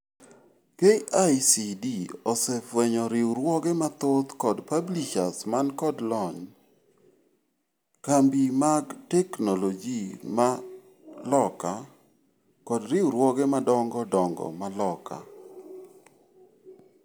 KICD osefwenyo riuruoge mathoth kod publishers man kod lony, kambi mag technology ma loka, kod riuruoge madoongo dongo ma loka.